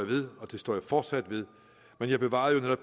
ved og det står jeg fortsat ved men jeg bevarede